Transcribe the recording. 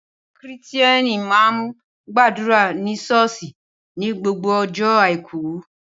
Awon Kírìtíẹni mà ń gbàdúrà ni sọọsi ni gbogbo ọjọ àíkù.